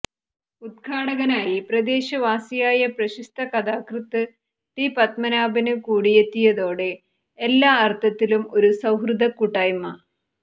ഉദ്ഘാടകനായി പ്രദേശവാസിയായ പ്രശസ്ത കഥാകൃത്ത് ടി പത്മനാഭന് കൂടിയെത്തിയതോടെ എല്ലാ അര്ത്ഥത്തിലും ഒരു സൌഹൃദകൂട്ടായ്മ